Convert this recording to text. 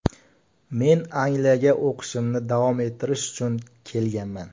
Men Angliyaga o‘qishimni davom ettirish uchun kelganman.